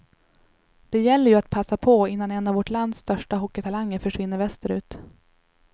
Det gäller ju att passa på innan en av vårt lands största hockeytalanger försvinner västerut.